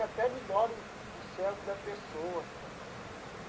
Até melhora o o cérebro da pessoa.